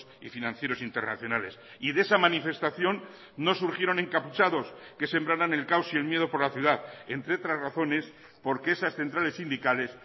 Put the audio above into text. y financieros internacionales y de esa manifestación no surgieron encapuchados que sembraran el caos y el miedo por la ciudad entre otras razones porque esas centrales sindicales